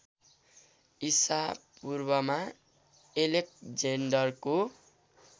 इसापूर्वमा एलेक्जेन्डरको